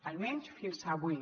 almenys fins avui